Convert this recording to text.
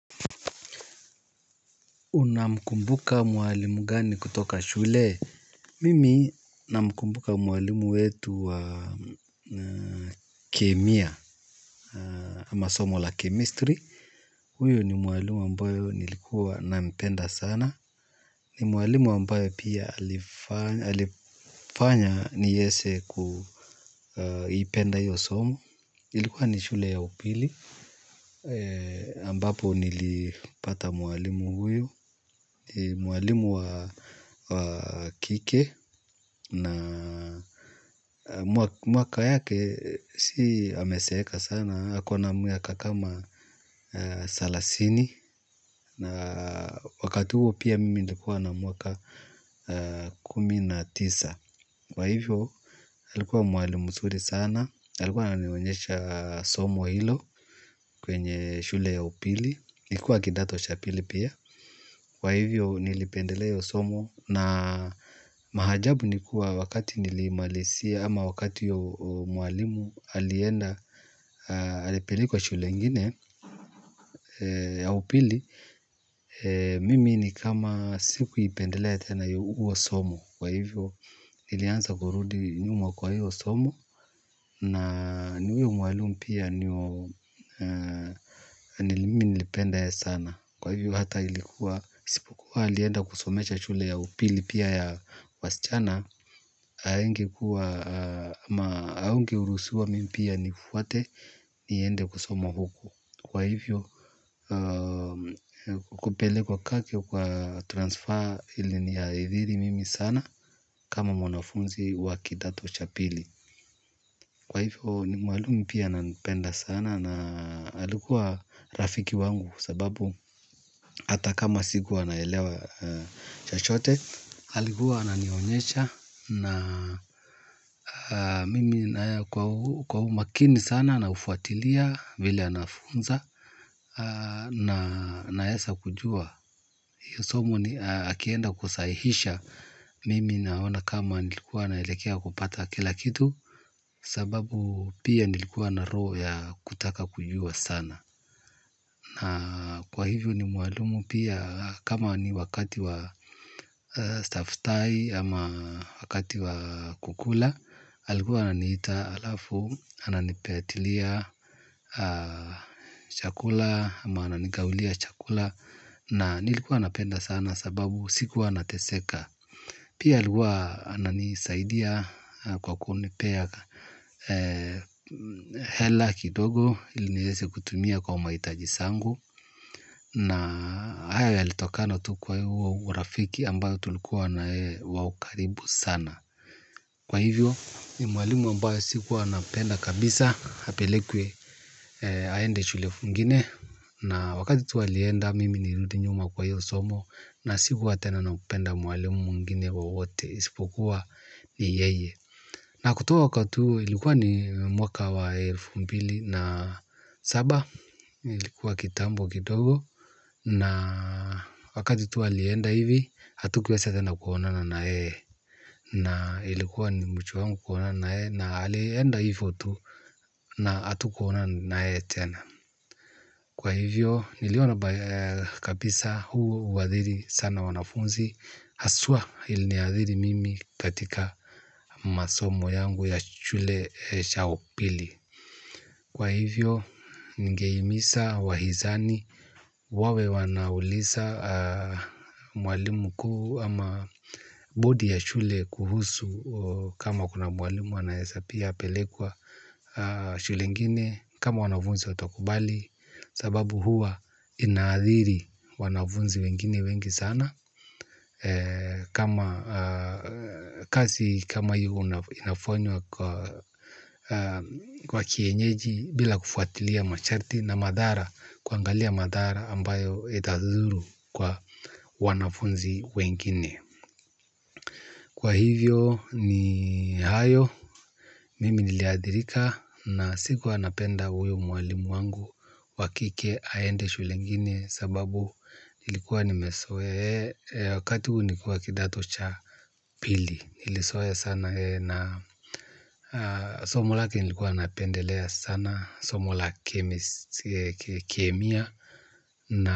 Unamkumbuka mwalimu gani kutoka shule? Mimi namkumbuka mwalimu wetu wa kemia. Ama somo la chemistry. Huyo ni mwalimu ambayo nilikuwa nampenda sana. Ni mwalimu ambaye pia alifanya niese kuipenda hiyo somo. Ilikuwa ni shule ya upili ambapo nilipata mwalimu huyo. Ni mwalimu wa kike na mwaka yake si ameseeka sana akona mwaka kama salasini. Na wakati huo pia mimi nilikuwa na mwaka kumi na tisa. Kwa hivyo alikuwa mwalimu msuri sana. Alikuwa ananionyesha somo hilo kwenye shule ya upili. Nilikuwa kidato cha pili pia kwa hivo nilipendelea hiyo somo na maajabu ni kuwa wakati nilimalizia ama wakati mwalimu alienda alipelekwa shule ingine. Ya upili mimi ni kama sikuipendelea tena huo somo kwa hivo nilianza kurudi nyuma kwa hiyo somo na ni huyo mwalimu pia ni wa nilipenda yeye sana. Kwa hivyo hata ilikuwa, asipokuwa alienda kusomesha shule ya upili pia ya wasichana. Haingekuwa, haungeurusiwa mimi pia nifuate niende kusoma huku. Kwa hivyo, kupelekwa kake kwa transfer iliniathiri mimi sana. Kama mwanafunzi wa kidato cha pili. Kwa hivyo, ni mwalimu pia ananipenda sana na alikuwa rafiki wangu sababu hata kama sikuwa naelewa chochote alikua ananionyesha na mimi kwa umakini sana naufuatilia vile anafunza naesa kujua hiyo somo akienda kusahihisha mimi naona kama nilikuwa naelekea kupata kila kitu sababu pia nilikuwa na roho ya kutaka kujua sana na kwa hivyo ni mwalimu pia. Kama ni wakati wa staftai ama wakati wa kukula. Alikuwa ananiita alafu, ananipeatilia chakula ama ananigawilia chakula. Na nilikuwa napenda sana sababu sikuwa nateseka. Pia alikuwa ananisaidia kwa kunipea hela kidogo ili nieze kutumia kwa mahitaji sangu. Na haya yalitokana tu kwa huo urafiki ambayo tulikuwa na yeye wa ukaribu sana. Kwa hivyo ni mwalimu ambaye sikuwa napenda kabisa apelekwe aende shule ingine. Na wakati tu alienda mimi nilirudi nyuma kwa hiyo somo. Na sikuwa tena napenda mwalimu mwingine wowote. Isipokua ni yeye. Na kutoka wakati huo ilikuwa ni mwaka wa elfu mbili na saba ilikuwa kitambo kidogo na wakati tu alienda hivi hatukuweza tena kuonana na yeye na ilikuwa ni uchu wangu kuonana na yeye na alienda hivo tu na hatukuonana na yeye tena kwa hivyo niliona kabisa huathiri sana wanafunzi haswa iliniathiri mimi katika masomo yangu ya shule cha upili. Kwa hivyo, ningehimisa, wahizani, wawe wanaulisa mwalimu mkuu ama bodi ya shule kuhusu kama kuna mwalimu wanaesa pia pelekwa shule ngine kama wanavunzi watakubali sababu huwa inaathiri wanavunzi wengine wengi sana. Kwa kienyeji bila kufuatilia masharti na madhara kuangalia madhara ambayo itadhuru kwa wanafunzi wengine. Kwa hivyo ni hayo. Mimi niliathirika na sikuwa napenda huyo mwalimu wangu. Wa kike aende shule ingine. Sababu nilikuwa nimesoea. Wakati huo nilikuwa kidato cha pili nilisoea sana na somo lake nilikuwa napendelea sana. Somo laki kemia na.